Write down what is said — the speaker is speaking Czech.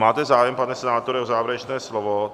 Máte zájem, pane senátore, o závěrečné slovo?